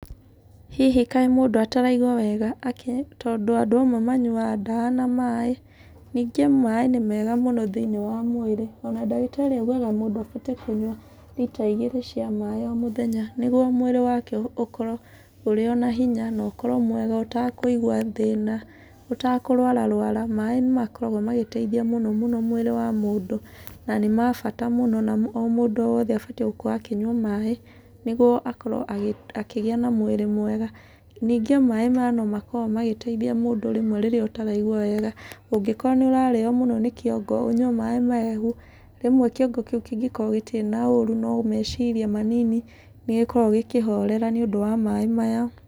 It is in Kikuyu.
Hihi kaĩ mũndũ atairaigua wega akĩ. Tondũ andũ amwe manyuaga ndawa na maĩ. Ningĩ maĩ nĩ mega thĩiniĩ wa mwĩrĩ. Ona ndagĩtarĩ augaga mũndũ ahote kunyua rita igĩrĩ cia maĩ o mũthenya, nĩguo mwĩrĩ wake ũkorwo ũrĩ ona hinya na ũkorwo mwega, ũtakũigua thĩna, ũtakũrwararwara. Maĩ nĩ makoragwo magĩteithia mũno mũno mwĩrĩ wa mũndũ, na nĩ ma bata mũno na o mũndũ wothe abatiĩ gũkorwo akĩnyua maĩ nĩguo akorwo akĩgĩa na mwĩrĩ mwega. Ningĩ o maĩ maya no makoragwo magĩteithia mũndũ rĩmwe rĩrĩa ũtaraigua wega. Ũngĩkorwo nĩ ũrarĩo rĩmwe nĩ kĩongo, ũnyue maĩ mahehu, rĩmwe kĩongo kĩu kĩngĩkorwo gĩtirĩ na ũũru no meciria manini, nĩ gĩkoragwo gĩkĩhorera nĩ ũndũ wa maĩ maya.